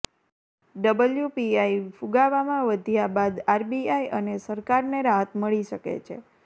WPI ફુગાવામાં વધ્યા બાદ આરબીઆઈ અને સરકારને રાહત મળી શકે છે